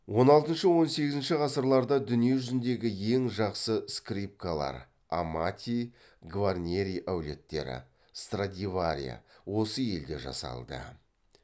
он алтыншы он сегізінші ғасырларда дүние жүзіндегі ең жақсы скрипкалар осы елде жасалды